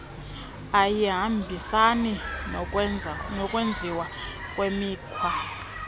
ayihambisani nokwenziwa kwemikhwa